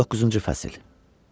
19-cu fəsil.